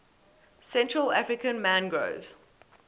central african mangroves